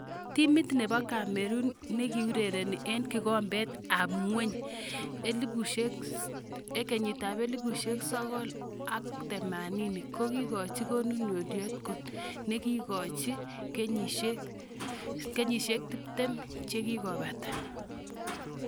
Timit nebo Cameroon nikiureren eng kikombet ab ngweny 1990 , kekoji konunotiot kot nikikakekochi kenyisiek 30 chikikopata.